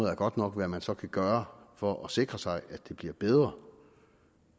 er godt nok hvad man så kan gøre for at sikre sig at det bliver bedre